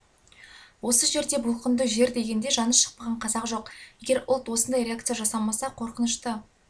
осы жерде бұлқынды жер дегенде жаны шықпаған қазақ жоқ егер ұлт осындай реакция жасамаса қорқынышты